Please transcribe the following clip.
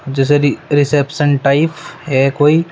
जैसे की reception type है कोई।